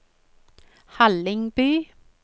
Hallingby